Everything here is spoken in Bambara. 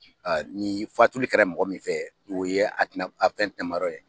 A ni fatuli kɛra e mɔgɔ min fɛ, o ye atina a fɛn tinɛ ma yɔrɔ ye dɛ.